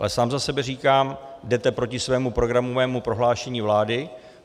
Ale sám za sebe říkám, jdete proti svému programovému prohlášení vlády.